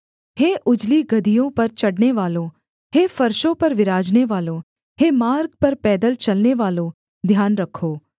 हे उजली गदहियों पर चढ़ने‍वालों हे फर्शों पर विराजनेवालो हे मार्ग पर पैदल चलनेवालों ध्यान रखो